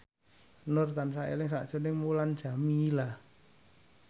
Nur tansah eling sakjroning Mulan Jameela